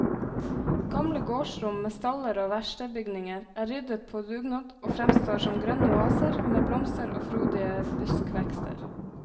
Gamle gårdsrom med staller og verkstedbygninger er ryddet på dugnad og fremstår som grønne oaser med blomster og frodige buskvekster.